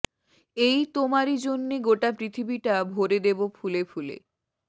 এই তোমারি জন্যে গোটা পৃথিবীটা ভরে দেবো ফুলে ফুলে